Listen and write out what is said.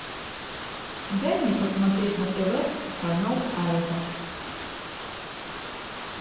дай мне посмотреть на тв канал айва